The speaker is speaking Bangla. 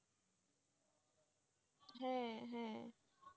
হ্যাঁ হ্যাঁ,